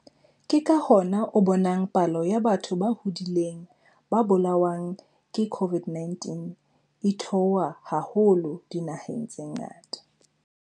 Ke ka hona o bonang palo ya batho ba hodileng ba bolawang ke COVID-19 e theoha haholo dinaheng tse ngata.